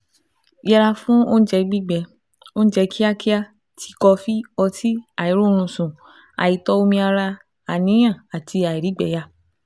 Yẹra fún oúnjẹ gbígbẹ, oúnjẹ kíákíá, ti, kọfí, ọtí, àìróorunsùn, àìtó omi ara, àníyàn, àti àìrígbẹyà